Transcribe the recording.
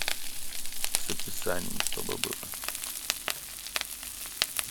с описанием чтобы было